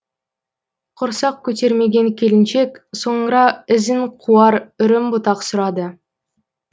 құрсақ көтермеген келіншек соңыра ізін қуар үрім бұтақ сұрады